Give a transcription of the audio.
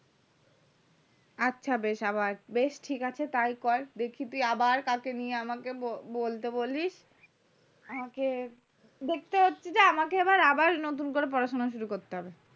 আচ্ছা বেশ আবার বেশ ঠিক আছে তাই কর দেখি তুই আবার কালকে নিয়ে আমাকে বল বলতে বলিস আমাকে দেখতে হচ্ছে যে আমাকে আবার নতুন করে পড়াশোনা শুরু করতে হবে